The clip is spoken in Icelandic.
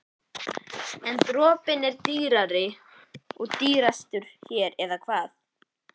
En dropinn er dýr og dýrastur hér, eða hvað?